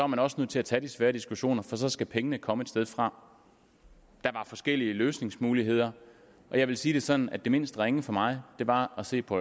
man også nødt til at tage de svære diskussioner for så skal pengene komme et sted fra der var forskellige løsningsmuligheder og jeg vil sige det sådan at det mindst ringe for mig var at se på